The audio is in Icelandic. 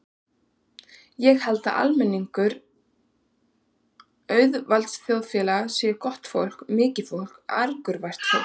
Ég held að almenningur auðvaldsþjóðfélaganna sé gott fólk, mikið fólk, angurvært fólk.